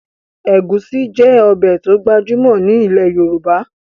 Ẹ̀gúsí jẹ́ ọbẹ̀ to gbajúmọ̀ ni ilẹ̀ Yorùbá